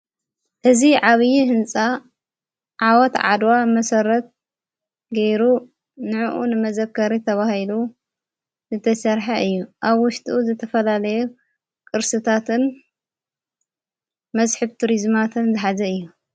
ሕዚ ዓብዪ ሕንፃ ዓዋት ዓድዋ መሠረት ገይሩ ንእኡ ንመዘከሪ ተብሂሉ ዝተሠርሐዕ እዩ ኣብ ወሽትኡ ዘተፈላለየ ቅርስታትን መስሒብ ቱሪዝማትን ዘኃዘ እዩ።